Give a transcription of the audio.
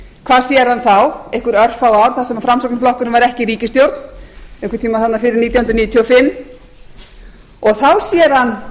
hvað sér hann þá einhver örfá ár sem framsfl var ekki í ríkisstjórn einhvern tíma þarna fyrir nítján hundruð níutíu og fimm og þá sér hann